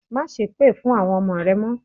Másépè fún àwọn ọmọ rẹ mọ́.